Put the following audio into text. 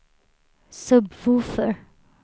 sub-woofer